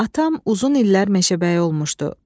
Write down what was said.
Atam uzun illər meşəbəyi olmuşdu.